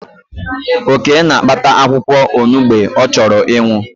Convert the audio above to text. Oke na-akpata akwụkwọ onugbe ọ chọrọ ịṅụ